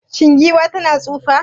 Shin giwa tana tsufa?